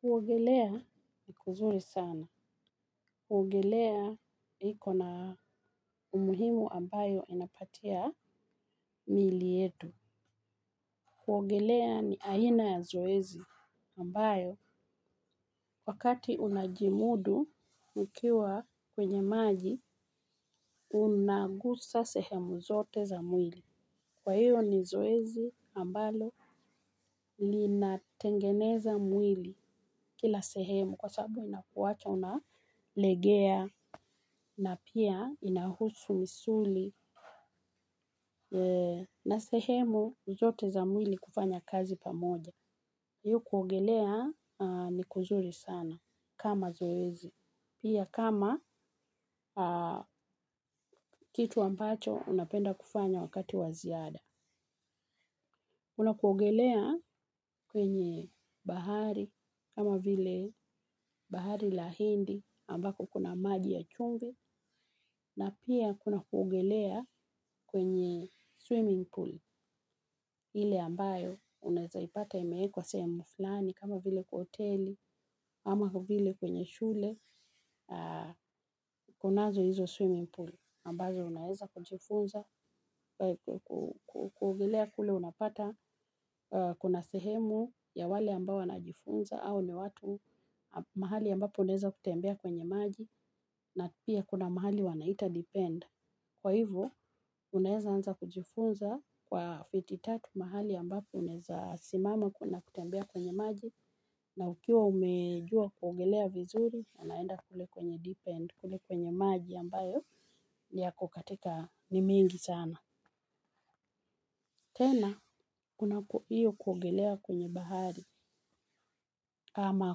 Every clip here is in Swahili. Kuogelea ni kuzuri sana. Kuogelea iko na umuhimu ambayo inapatia miili yetu. Kuogelea ni aina ya zoezi ambayowa kati unajimudu ukiwa kwenye maji unagusa sehemu zote za mwili. Kwa hiyo ni zoezi ambalo linatengeneza mwili kila sehemu kwa saabu inakuwacha unalegea na pia inahusu misuli na sehemu zote za mwili kufanya kazi pamoja. Kwahiyo kuogelea ni kuzuri sana kama zoezi. Pia kama kitu ambacho unapenda kufanya wakati waziada. Kuna kuogelea kwenye bahari kama vile bahari lahindi ambako kuna maji ya chumvi na pia kuna kuogelea kwenye swimming pool. Ile ambayo unaeza ipata imeekwa sehemu fulani, kama vile kwaoteli, ama vile kwenye shule, kunazo hizo swimming pool. Ambazo unaeza kujifunza, kuogelea kule unapata kuna sehemu ya wale ambao wanajifunza au ni watu mahali ambapo unaeza kutembea kwenye maji, na pia kuna mahali wanaita depend. Kwa hivyo, unaeza anza kujifunza kwa fititatu mahali ambapo unaeza simama kuna kutembea kwenye maji na ukiwa umejua kuogelea vizuri, unaenda kule kwenye deepend, kule kwenye maji ambayo niyako katika ni mingi sana. Tena kuna hiyo kuogelea kwenye bahari ama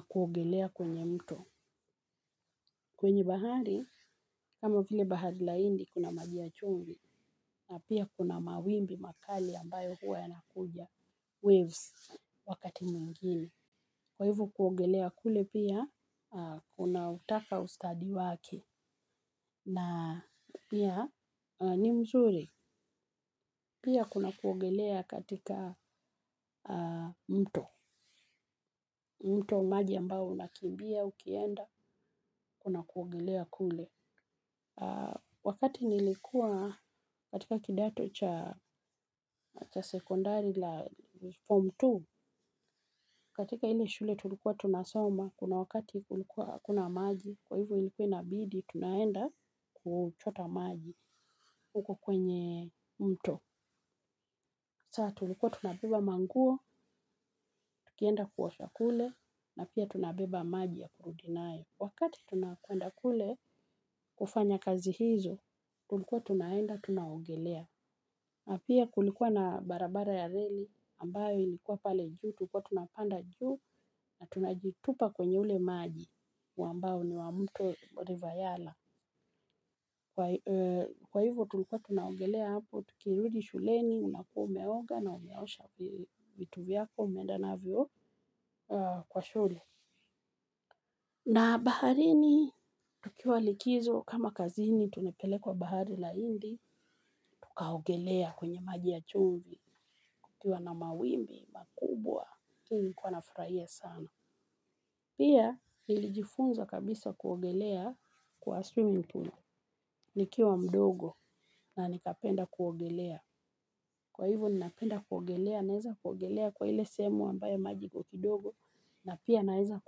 kuogelea kwenye mto. Kwenye bahari, kama vile bahalila indi kuna majiya chumvi na pia kuna mawimbi makali ambayo huwa yanakuja. Waves wakati mwingine kwa hivo kuogelea kule pia, kuna utaka ustadi wake. Na pia ni mzuri, pia kuna kuogelea katika mto. Mto maji ambaou nakimbia, ukienda, kuogelea kule. Wakati nilikua katika kidato cha sekondari la form two, katika ile shule tulikuwa tunasoma, kuna wakati kulikuwahakuna maji, kwa hivo ilikuwa inabidi, tunaenda kuchota maji huko kwenye mto. Saa tulikuwa tunabeba manguo, tukienda kuosha kule, na pia tunabeba maji ya kurudinayo. Wakati tunakwenda kule, kufanya kazi hizo, tulikuwa tunaenda, tunaogelea. Na pia kulikuwa na barabara ya reli ambayo ilikuwa pale juu tulikuwa tunapanda juu na tunajitupa kwenye ule maji wambao ni wamuto rivayala. Kwa hivyo tulikuwa tunaogelea hapo tukirudi shuleni unakua umeoga na umeosha vitu vyako umeenda navyo kwa shule. Na baharini tukiwa likizo kama kazini tunapelekwa bahari la indi tukaogelea kwenye maji ya chumvi kukiwa na mawimbi makubwa hiinilikuwa nafurahia sana. Pia nilijifunza kabisa kuogelea kwa swimming pool. Nikiwa mdogo na nikapenda kuogelea. Kwa hivo ninapenda kuogelea na eza kuogelea kwa ile sehemu ambayo maji iko kidogo na pia na eza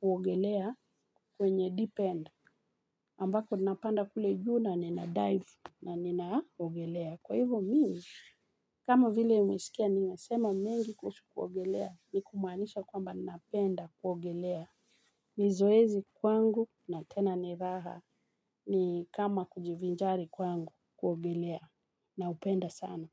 kuogelea kwenye deep end. Ambako ninapanda kule juu ninadive na ninaogelea. Kwa hivyo mimi, kama vile mmesikia ninasema mengi kuhusu kuogelea ni kumaanisha kwamba napenda kuogelea. Nizoezi kwangu na tena ni raha ni kama kujivinjari kwangu kuogelea na upenda sana.